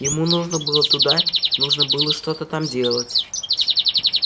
ему нужно было туда нужно было что-то там делать